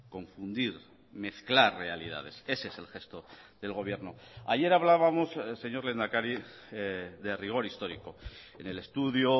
confundir mezclar realidades ese es el gesto del gobierno ayer hablábamos señor lehendakari de rigor histórico en el estudio